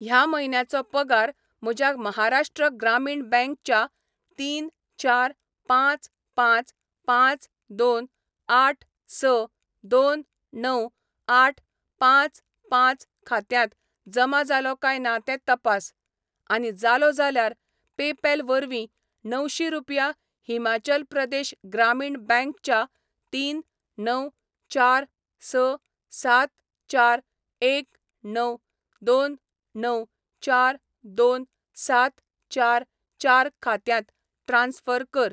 ह्या म्हयन्याचो पगार म्हज्या महाराष्ट्र ग्रामीण बँक च्या तीन चार पांच पांच पांच दोन आठ स दोन णव आठ पांच पांच खात्यांत जमा जालो काय ना तें तपास, आनी जालो जाल्यार पेपॅल वरवीं णवशीं रुपया हिमाचल प्रदेश ग्रामीण बँक च्या तीन णव चार स सात चार एक णव दोन णव चार दोन सात चार चार खात्यांत ट्रान्स्फर कर.